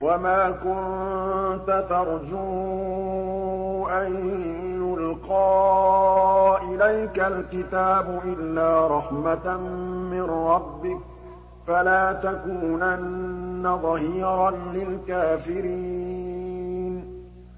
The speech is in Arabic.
وَمَا كُنتَ تَرْجُو أَن يُلْقَىٰ إِلَيْكَ الْكِتَابُ إِلَّا رَحْمَةً مِّن رَّبِّكَ ۖ فَلَا تَكُونَنَّ ظَهِيرًا لِّلْكَافِرِينَ